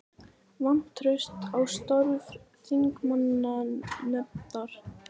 Vantraust á störf þingmannanefndar